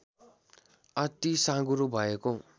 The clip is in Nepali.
अति साँघुरो भएको